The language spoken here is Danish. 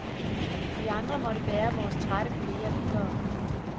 Vi andre måtte bære vores trætte kolleger videre.